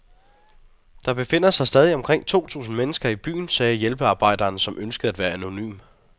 Der befinder sig stadig omkring to tusind mennesker i byen, sagde hjælpearbejderen, som ønskede at være anonym.